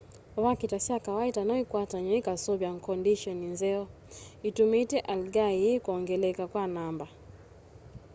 vakita sya kawaita noikwatanw'e ikaseuvya kondisheni nzeo itumite algae ii kwongeleka kwa namba